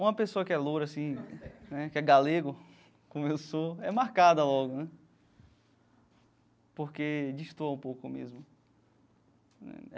Uma pessoa que é loura assim né, que é galego, como eu sou, é marcada logo né, porque destoa um pouco mesmo né.